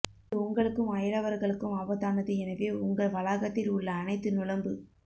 இது உங்களுக்கும் அயலவர்களுக்கும் ஆபத்தானது எனவே உங்கள் வளாகத்தில் உள்ள அனைத்து நுளம்பு